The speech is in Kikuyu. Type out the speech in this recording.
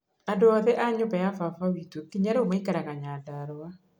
Andũ othe a nyũmba ya baba witũ nginya rĩu maikaraga Nyandarũa.